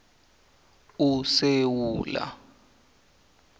usewula